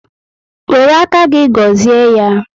Wéré áká gị gọzie ya